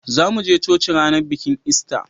zamu je coci ranar bikin ista